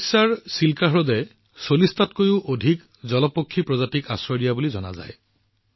ওড়িশাৰৰ চিল্কা হ্ৰদে ৪০টাতকৈও অধিক জলপক্ষী প্ৰজাতিক আশ্ৰয় দিয়া বুলি জনা যায়